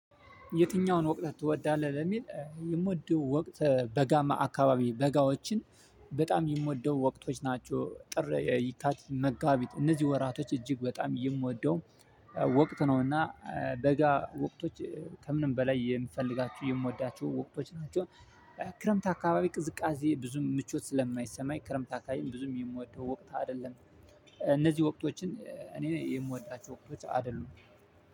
የትኛውን? ወቅት ትወዳለህ ለሚል የምወደው ወቅት በጋማ አካባቢ በጋዎችን በጣም የምወደው ወቅቶች ናቸው ጥር የካቲት መጋቢት እነዚህ ወራቶች እጅግ በጣም የምወደው ወቅት ነውና። ደጋ ወቅቶች ከምንም በላይ የምፈልጋችሁ የምወዳችሁ ወቅቶች ናቸው። ክረምት አካባቢ ቅዝቃዜ ብዙ ምቾት ስለማይሰማኝ ክረምት አካባቢም ብዙ የምወደው ወቅት አይደለም። እነዚህ ወቅቶችን እኔ የምወዳቸው። አይደሉም